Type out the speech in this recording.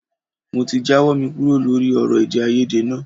Mo ti jáwọ́ mi kúrò lórí ọ̀rọ̀ èdèàìyedè náà